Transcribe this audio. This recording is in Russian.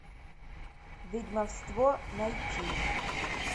ведьмовство найти